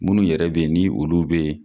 Munnu yɛrɛ be yen ni olu be yen